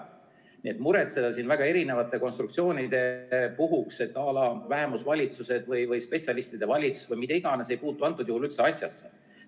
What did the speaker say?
Nii et pole mõtet muretseda siin väga erinevate konstruktsioonide pärast, à la vähemusvalitsused või spetsialistide valitsus või mida iganes, sest need ei puutu üldse asjasse.